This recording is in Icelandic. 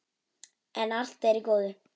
Enn er allt í góðu.